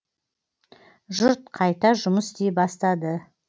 жұрт қайта жұмыс істей бастады